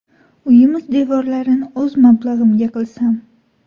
Uyimiz devorlarini o‘z mablag‘imga qilsam.